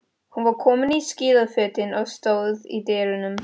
Hún var komin í skíðafötin og stóð í dyrunum.